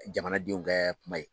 Jamanadenw kɛ kuma ye.